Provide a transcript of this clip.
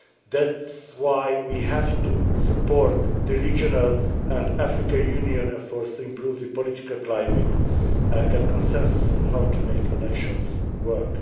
That is why we have to support the regional and African Union efforts to improve the political climate and get consensus on how to make elections work.